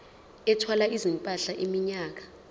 ethwala izimpahla iminyaka